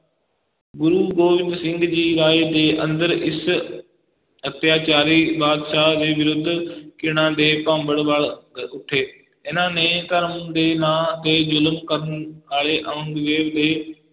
ਗੁਰੂ ਗੋਬਿੰਦ ਸਿੰਘ ਜੀ ਰਾਏ ਦੇ ਅੰਦਰ ਇਸ ਅਤਿਆਚਾਰੀ ਬਾਦਸ਼ਾਹ ਦੇ ਵਿਰੁੱਧ ਘਿਣਾ ਦੇ ਭਾਂਬੜ ਬਲ ਅਹ ਉੱਠੇ, ਇਹਨਾਂ ਨੇ ਧਰਮ ਦੇ ਨਾਂ ਤੇ ਜ਼ੁਲਮ ਕਰਨ ਵਾਲੇ ਔਰੰਗਜ਼ੇਬ ਦੇ